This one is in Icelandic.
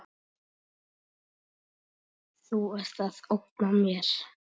Þú ert að ógna mér.